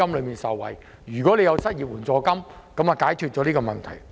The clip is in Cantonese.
如果政府可以提供失業援助金，便可解決相關問題。